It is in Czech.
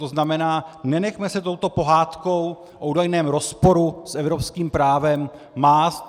To znamená, nenechme se touto pohádkou o údajném rozporu s evropským právem mást.